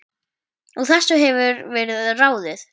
Úr þessu hefur verið ráðið